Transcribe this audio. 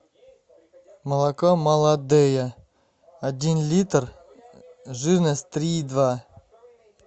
молоко молодея один литр жирность три и два